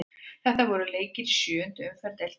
Þetta voru leikir í sjöundu umferð deildarinnar.